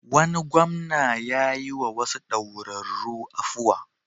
Wani gwamna ya yiwa wasu daurarru afuwa.